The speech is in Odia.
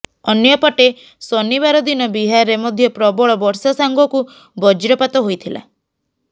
ଅନ୍ୟପଟେ ଶନିବାର ଦିନ ବିହାରରେ ମଧ୍ୟ ପ୍ରବଳ ବର୍ଷା ସାଙ୍ଗକୁ ବଜ୍ରପାତ ହୋଇଥିଲା